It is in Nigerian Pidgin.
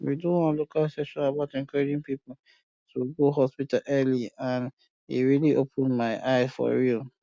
we do one local session about encouraging people um to um go hospital early and e really open my um eye for real